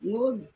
N ko